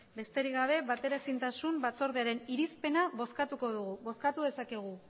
besterik gabe bateraezintasunen batzordearen irizpena bozkatuko dugu bozkatu dezakegu